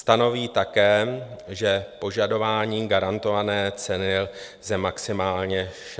Stanoví také, že požadování garantované ceny lze maximálně 60 dní.